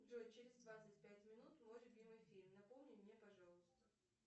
джой через двадцать пять минут мой любимый фильм напомни мне пожалуйста